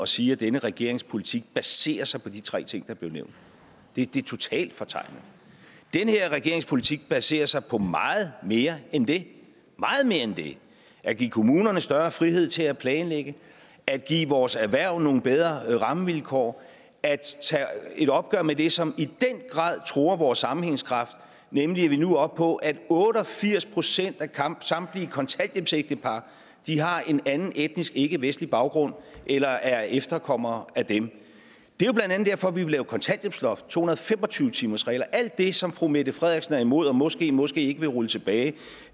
sige at denne regerings politik baserer sig på de tre ting der blev nævnt det det er totalt fortegnet den her regerings politik baserer sig på meget mere end det meget mere end det at give kommunerne større frihed til at planlægge at give vores erhverv nogle bedre rammevilkår at tage et opgør med det som i den grad truer vores sammenhængskraft nemlig at vi nu er oppe på at otte og firs procent af samtlige kontanthjælpsægtepar har en anden etnisk ikkevestlig baggrund eller er efterkommere af dem det er blandt andet derfor at vi vil indføre kontanthjælpsloft to hundrede og fem og tyve timersregel og alt det som fru mette frederiksen er imod og måskemåske ikke vil rulle tilbage